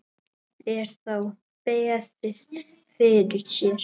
Er þá beðið fyrir sér.